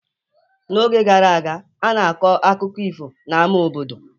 N'oge gara aga, a na-akọ akụkọ ifo n'ámá obodo.